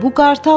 Bu qartaldır!